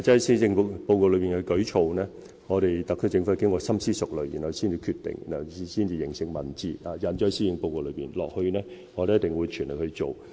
施政報告內的舉措是特區政府經深思熟慮才決定的，繼而化成文字，印載於施政報告內，接下來我們一定會盡全力完成。